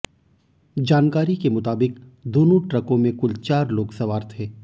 जानकारी के मुताबिक़ दोनों ट्रकों में कुल चार लोग सवार थे